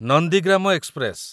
Nandigram express